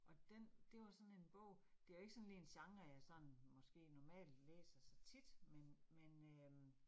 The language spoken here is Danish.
Og den, det var sådan bog, det var ikke sådan lige en genre, jeg sådan måske normalt læser så tit men men øh